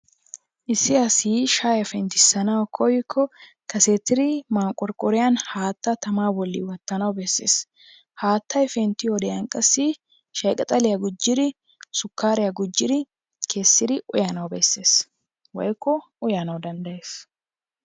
Issi asi shayiyaa penttisanawu koyikko kasettidi manqorqqoriyan haattaa tamaa boli wotanawu besees. Haattay penttiyodiyan qassi shayi qixxaliya gujjidi sukaariya gujjidi uyanawu bessees. woykko uyana danddayees.